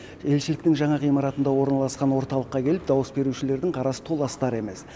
елшіліктің жаңа ғимаратында орналасқан орталыққа келіп дауыс берушілердің қарасы толастар емес